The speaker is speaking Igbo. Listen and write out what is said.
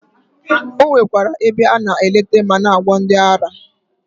O nwekwara ebe a na eleta ma na-agwọ ndị ara.